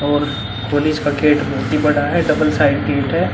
और पुलिस का गेट बहुत ही बड़ा है डबल साइड गेट है।